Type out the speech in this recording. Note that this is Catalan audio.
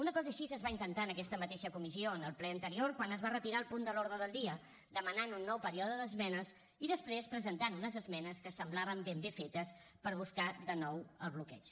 una cosa així es va intentar en aquesta mateixa comissió en el ple anterior quan es va retirar el punt de l’ordre del dia demanant un nou període d’esmenes i després presentant unes esmenes que semblaven ben bé fetes per buscar de nou el bloqueig